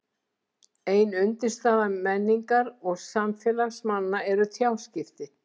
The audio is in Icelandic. ein undirstaða menningar og samfélags manna eru tjáskipti